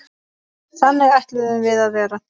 Þannig ætluðum við að verða.